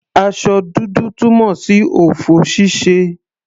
Aṣọ dúdú túmọ̀ sí ọ̀fọ̀ ṣíṣe.